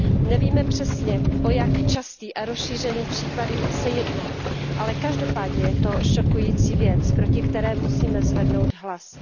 Nevíme přesně, o jak časté a rozšířené případy se jedná, ale každopádně je to šokující věc, proti které musíme zvednout hlas.